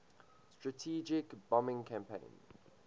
strategic bombing campaign